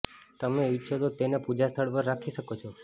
તમે ઈચ્છો તો તેને પૂજા સ્થળ પર રાખી શકો છો